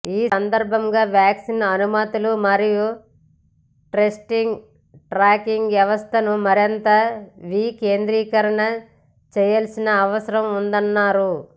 ఈ సందర్భంగా వ్యాక్సిన్ అనుమతులు మరియు టెస్టింగ్ ట్రాకింగ్ వ్యవస్థను మరింత వికేంద్రీకరణ చేయాల్సిన అవసరం ఉందన్నారు